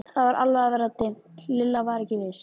Það var alveg að verða dimmt, Lilla var ekki viss.